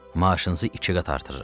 Maaşınızı iki qat artırıram.